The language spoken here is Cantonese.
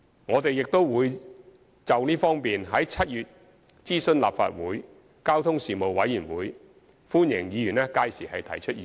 我們亦會就這方面在7月諮詢立法會交通事務委員會，歡迎議員屆時提出意見。